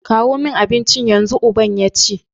kawo min abinci yanzu! uban yace